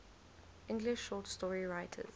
english short story writers